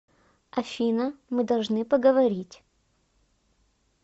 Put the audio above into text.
афина мы должны поговорить